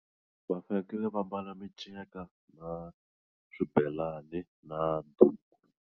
Va fanekele va mbala miceka na swibelani na duku.